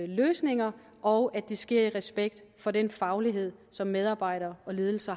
løsninger og at det sker i respekt for den faglighed som medarbejdere og ledelse